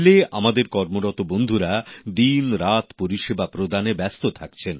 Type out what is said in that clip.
rail এ আমাদের কর্মরত বন্ধুরা দিনরাত পরিষেবা প্রদানে ব্যস্ত থাকছেন